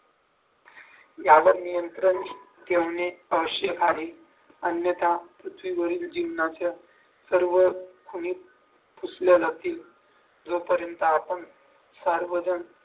यावर नियंत्रण ठेवणे आवश्यक आहे अन्यथा पृथ्वीवरील जीवनाच्या सर्व सुविधा पुसल्या जातील जोपर्यंत आपण सर्वजण